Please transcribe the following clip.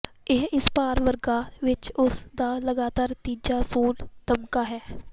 ਇਹ ਇਸ ਭਾਰ ਵਰਗ ਵਿਚ ਉਸ ਦਾ ਲਗਾਤਾਰ ਤੀਜਾ ਸੋਨ ਤਮਗਾ ਹੈ